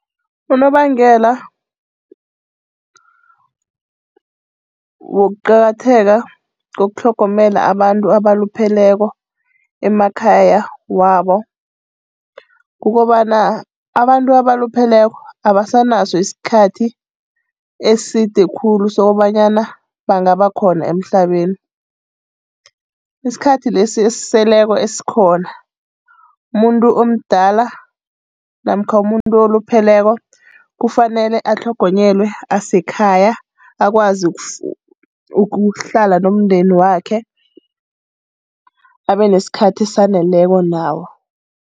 Unobangela wokuqakatheka kokutlhogomela abantu abalupheleko emakhaya wabo, kukobana abantu abalupheleko abasanaso isikhathi eside khulu sokobanyana bangaba khona emhlabeni. Isikhathi lesi esiseleko esikhona, umuntu omdala namkha umuntu olupheleko kufanele atlhogonyelwe asekhaya akwazi ukuhlala nomndeni wakhe abe nesikhathi esaneleko nawo.